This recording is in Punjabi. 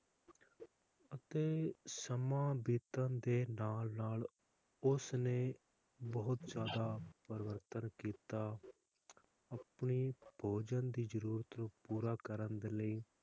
ਤੇ ਸਮਾਂ ਬੀਤਣ ਦੇ ਨਾਲ ਨਾਲ ਉਸ ਨੇ ਬਹੁਤ ਜ਼ਯਾਦਾ ਪਰਿਵਰਤਨ ਕੀਤਾ ਅਤੇ ਭੋਜਨ ਦੀ ਜਰੂਰਤ ਨੂੰ ਪੂਰਾ ਕਰਨ ਦੇ ਲਈ,